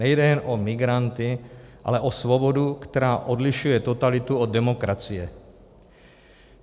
Nejde jen o migranty, ale o svobodu, která odlišuje totalitu od demokracie.